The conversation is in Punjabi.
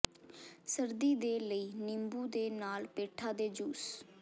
ਸਰਦੀ ਦੇ ਲਈ ਨਿੰਬੂ ਦੇ ਨਾਲ ਪੇਠਾ ਦੇ ਜੂਸ